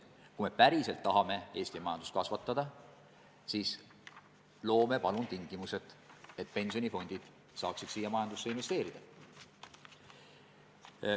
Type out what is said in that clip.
Kui me päriselt tahame Eesti majandust kasvatada, siis loome palun tingimused, et pensionifondid saaksid meie majandusse investeerida.